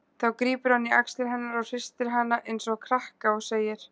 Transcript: Þá grípur hann í axlir hennar og hristir hana einsog krakka og segir